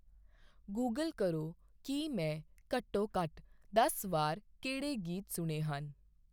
Google ਕਰੋ ਕੀ ਮੈਂ ਘੱਟੋ ਘੱਟ ਦਸ ਵਾਰ ਕਿਹੜੇ ਗੀਤ ਸੁਣੇ ਹਨ